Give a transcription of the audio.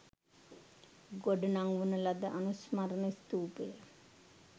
ගොඩනංවන ලද අනුස්මරණ ස්ථූපය